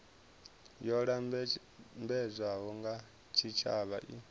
yo lambedzwaho nga tshitshavha i